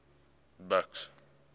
buks